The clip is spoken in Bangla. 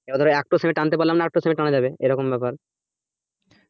এবার ধরো একটা sem এ টানতে পারলাম না আরেকটা sem এ টানা যাবে এরকম ব্যাপার